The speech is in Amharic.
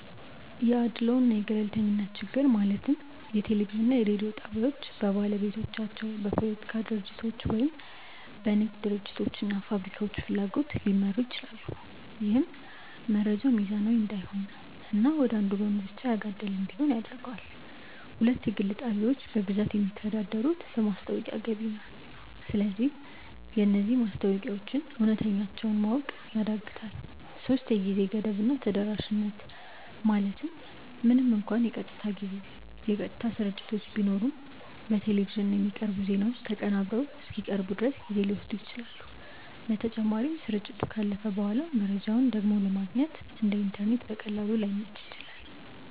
1 የአድልዎ እና የገለልተኝነት ችግር ማለትም ብዙ የቴሌቪዥን እና የሬዲዮ ጣቢያዎች በባለቤቶቻቸው፣ በፖለቲካ ድርጅቶች ወይም በንግድ ድርጅቶች እና ፋብሪካዎች ፍላጎት ሊመሩ ይችላሉ። ይህም መረጃው ሚዛናዊ እንዳይሆን እና ወደ አንዱ ወገን ብቻ ያጋደለ እንዲሆን ያደርገዋል። 2 የግል ጣቢያዎች በብዛት የሚተዳደሩት በማስታወቂያ ገቢ ነው። ስለዚህ የነዚህ ማስታወቂያዎች እውነተኛነታቸውን ማወቅ ያዳግታል 3የጊዜ ገደብ እና ተደራሽነት ማለትም ምንም እንኳን የቀጥታ ስርጭቶች ቢኖሩም፣ በቴሌቪዥን የሚቀርቡ ዜናዎች ተቀናብረው እስኪቀርቡ ድረስ ጊዜ ሊወስዱ ይችላሉ። በተጨማሪም፣ ስርጭቱ ካለፈ በኋላ መረጃውን ደግሞ ለማግኘት (እንደ ኢንተርኔት በቀላሉ) ላይመች ይችላል።